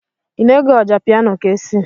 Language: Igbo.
Ị na-ege Ọjapiano Kcee.